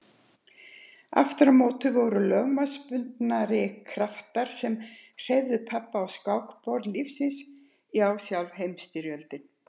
Aftur á móti voru lögmálsbundnari kraftar sem hreyfðu pabba á skákborði lífsins já sjálf Heimsstyrjöldin.